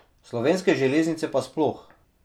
Slovenske železnice pa sploh.